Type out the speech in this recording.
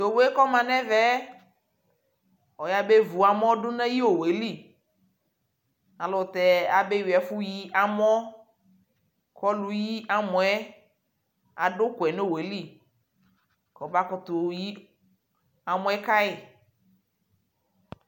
Tʋ owue kɔma nʋ ɛvɛ ɔyabevu amɔ dʋ nʋ ayʋ owue lι ayʋɛlʋtɛ abewi ɛfu yi amɔ kʋ ɔlʋyi amɔ yɛ adʋ ʋkʋɛ nʋ owue lι kʋ abakutu yi amɔ yɛ kayʋ